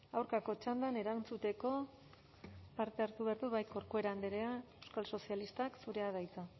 aurkako txandan erantzuteko parte hartu behar du bai corcuera andrea euskal sozialistak zurea da hitza